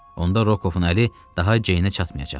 Onda Rokovun əli daha Ceynə çatmayacaqdı.